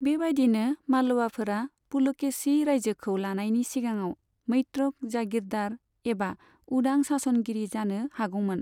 बेबाइदिनो, मालवाफोरा पुलकेशी रायजोखौ लानायनि सिगाङाव मैत्रक जागीरदार एबा उदां शासनगिरि जानो हागौमोन।